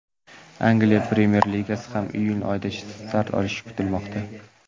Angliya Premyer Ligasi ham iyun oyidan start olish kutilmoqda .